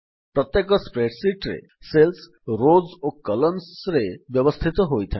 ପ୍ରତ୍ୟେକ ସ୍ପ୍ରେଡଶିଟ୍ ରେ cells rows ଓ Columnରେ ବ୍ୟବସ୍ଥିତ ହୋଇଥାଏ